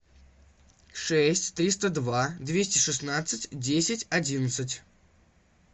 шесть триста два двести шестнадцать десять одиннадцать